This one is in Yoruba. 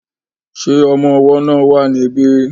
Ṣé ọmọ ọwọ́ náà wà ní bí?